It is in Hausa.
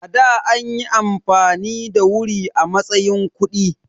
A da anyi amfani da wuri a matsayin kuɗi.